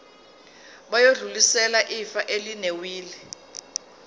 bayodlulisela ifa elinewili